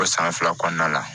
O san fila kɔnɔna la